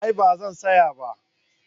A'a ba zan saya ba